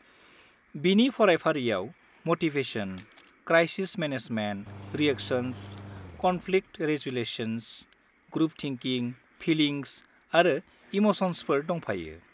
बिनि फरायफारिआव motivation, crisis management, reactions, conflict resolutions, group thinking, feelings आरो इम'सन्सफोर दंफायो।